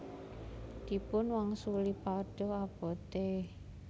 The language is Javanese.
Dipun wangsuli Padha abote